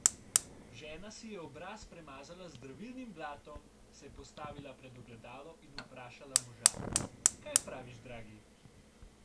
Žena si je obraz premazala z zdravilnim blatom, se postavila pred ogledalo in vprašala moža: "Kaj praviš, dragi?